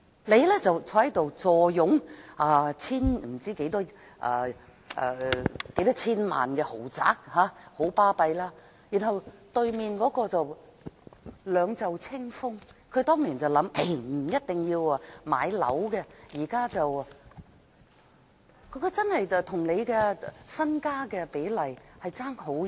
你坐擁數千萬元的豪宅，很是了不起，而另一人卻兩袖清風，因為他當年的想法是不一定要買樓，但現在兩者的財富比例相差極遠。